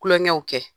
Kulonkɛw kɛ